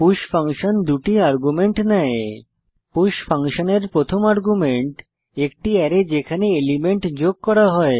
push function 2 টি argument নেয় push ফাংশনের প্রথম আর্গুমেন্ট একটি অ্যারে যেখানে এলিমেন্ট যোগ করা হয়